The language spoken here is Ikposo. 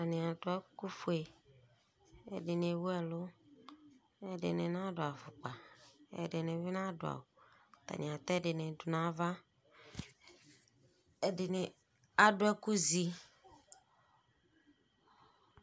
ɛdini adʋ ɛkʋ ƒʋɛ, ɛdini ɛwʋ ɛlʋ, ɛdini nadʋ aƒʋkpa, ɛdini bi nadʋ awʋ, atani atɛ ɛdini dʋnʋ aɣa, ɛdini adʋ ɛkʋ zi